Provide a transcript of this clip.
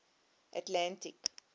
atlantic